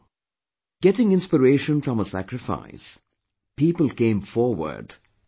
Getting inspiration from her sacrifice, people came forward and joined her